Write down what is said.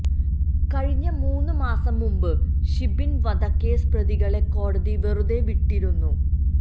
കഴിഞ്ഞ മൂന്ന് മാസം മുമ്പ് ഷിബിൻ വധക്കേസ് പ്രതികളെ കോടതി വെറുതെ വിട്ടിരുന്നു